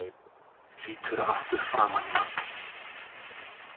Lítur aftur framan í hann.